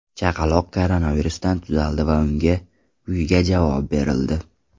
Chaqaloq koronavirusdan tuzaldi va unga uyiga javob berildi.